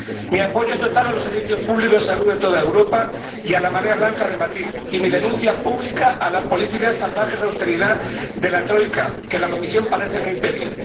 Mi apoyo es total a los servicios públicos de salud de toda Europa y a la marea blanca de Madrid y mi denuncia, pública, a las políticas salvajes de austeridad de la troika que la Comisión parece no impedir.